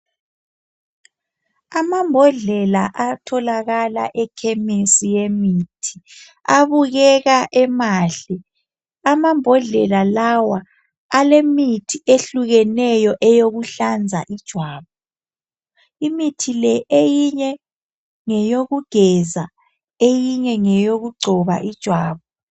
Amambhodlela atholakala echemis yemithi abukeka emahle amambodlela lawa alemithi ehlukeneyo eyokuhlanza ijwabu imithi le eyinye ngeyokugeza eyinye ngeyokugcoba ijwabu.